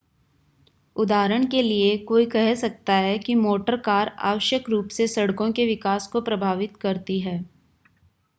उदाहरण के लिए कोई कह सकता है कि मोटर कार आवश्यक रूप से सड़कों के विकास को प्रभावित करती हैं